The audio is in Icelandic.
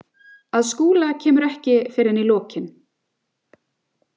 Að Skúla kemur ekki fyrr en í lokin.